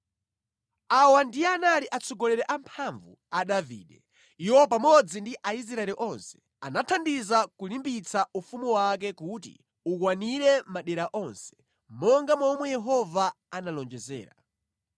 Awa ndiye anali atsogoleri amphamvu a Davide. Iwo pamodzi ndi Aisraeli onse, anathandiza kulimbikitsa ufumu wake kuti ukwanire madera onse, monga momwe Yehova analonjezera.